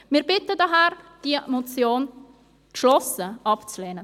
Daher bitten wir darum, diese Motion abzulehnen.